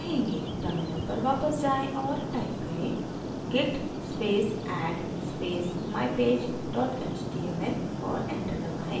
terminal पर वापस जाएँ और type करें: git space add space mypage html और enter दबाएँ